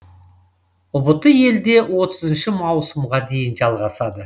ұбт елде отызыншы маусымға дейін жалғасады